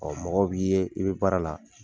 Ɔ mɔgɔw b'i ye i bɛ baara la.